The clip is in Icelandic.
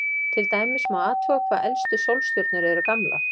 Til dæmis má athuga hvað elstu sólstjörnur eru gamlar.